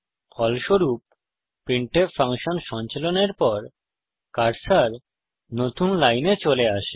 ফলস্বরূপ printf function সঞ্চালনের পর কার্সার নতুন লাইন চলে আসে